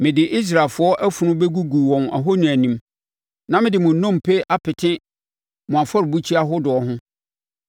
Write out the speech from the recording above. Mede Israelfoɔ afunu bɛgugu wɔn ahoni anim, na mede mo nnompe apete mo afɔrebukyia ahodoɔ ho.